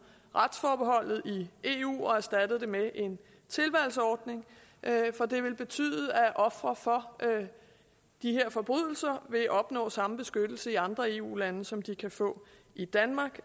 retsforbeholdet i eu og erstattede det med en tilvalgsordning for det vil betyde at ofre for de her forbrydelser vil opnå samme beskyttelse i andre eu lande som de kan få i danmark